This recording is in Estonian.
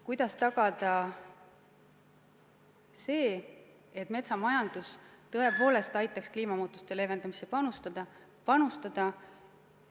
Kuidas tagada, et metsamajandus tõepoolest aitaks kliimamuutusi leevendada?